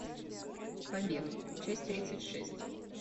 побег часть тридцать шесть